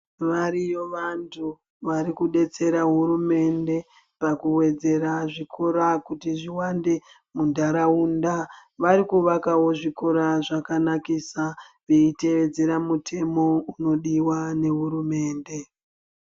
Variyo vantu vari kudetsera hurumende pakuwedzera zvikora kuti zviwande muntaraunda. Vari kuvakawo zvikora zvakanakisa veiteedzera mutemo unodiwa nehurumende.